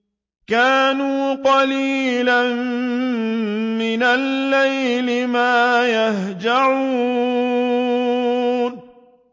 كَانُوا قَلِيلًا مِّنَ اللَّيْلِ مَا يَهْجَعُونَ